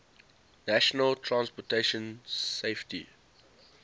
national transportation safety